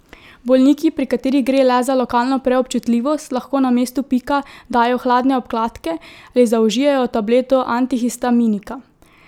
Bolniki, pri katerih gre le za lokalno preobčutljivost, lahko na mesto pika dajo hladne obkladke ali zaužijejo tableto antihistaminika.